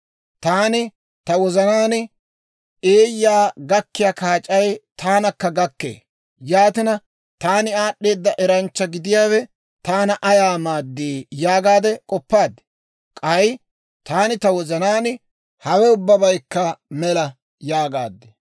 Taani ta wozanaan, «Eeyyaa gakkiyaa kaac'ay taanakka gakkee; yaatina, taani aad'd'eeda eranchcha gidiyaawe taana ayaa maaddii?» yaagaade k'oppaad. K'ay taani ta wozanaan, «Hawe ubbabaykka mela!» yaagaad.